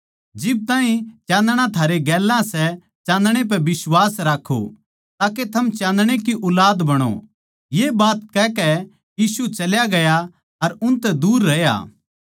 जिब ताहीं चाँदणा थारै गेल्या सै चाँदणै पै बिश्वास राक्खो ताके थम चाँदणै की ऊलाद बणो ये बात कहकै यीशु चल्या गया अर उनतै दूर रह्या